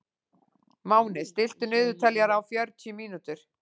Máni, stilltu niðurteljara á fjörutíu mínútur.